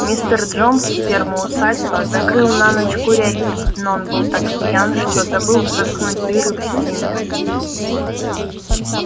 мистер джонс с фермы усадьба закрыл на ночь курятник но он был так пьян что забыл заткнуть дыры в стене